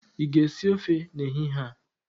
ị ga-esi ofe n'ehihie a?